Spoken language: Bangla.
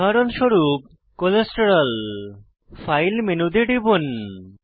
উদাহরণস্বরূপ কোলেস্টেরল কোলেস্টেরল ফাইল মেনুতে টিপুন